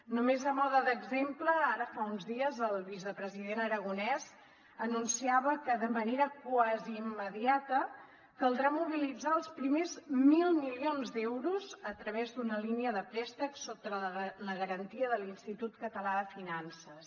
només a mode d’exemple ara fa uns dies el vicepresident aragonès anunciava que de manera quasi immediata caldrà mobilitzar els primers mil milions d’euros a través d’una línia de préstecs sota la garantia de l’institut català de finances